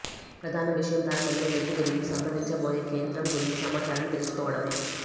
ప్రధాన విషయం ప్రారంభంలో వ్యక్తి గురించి సంప్రదించబోయే కేంద్రం గురించి సమాచారాన్ని తెలుసుకోవడమే